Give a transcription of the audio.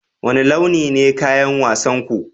Wane launi ne kayan wasan ku?